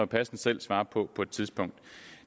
passende selv svare på på et tidspunkt